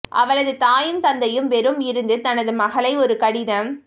அவளது தாயும் தந்தையும் வெறும் இருந்து தனது மகளை ஒரு கடிதம்